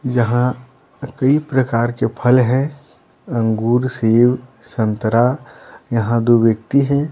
यहाँ कई प्रकार के फल हैं अंगूर सेब संतरा यहाँ दो व्यक्ति हैं।